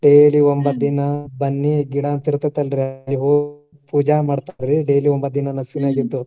Daily ಒಂಬತ್ತ ದಿನ ಬನ್ನಿ ಗಿಡ ಅಂತ್ ಇರ್ತೇತಲ್ರಿ ಅಲ್ಲೇ ಹೋಗಿ ಪೂಜಾ ಮಾಡ್ತಾರ್ರಿ daily ಒಂಬತ್ತ ದಿನಾ ನ್ಯಾಸಕಿನ್ಯಾಗ ಎದ್ದು.